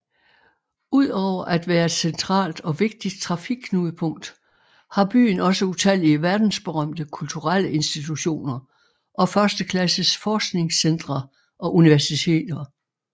Udover at være et centralt og vigtigt trafikknudepunkt har byen også utallige verdensberømte kulturelle institutioner og førsteklasses forskningscentre og universiteter